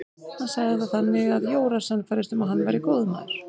Hann sagði það þannig að Jóra sannfærðist um að hann væri góður maður.